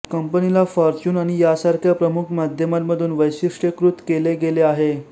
कंपनीला फॉर्च्यून आणि यासारख्या प्रमुख माध्यमांमधून वैशिष्ट्यीकृत केले गेले आहे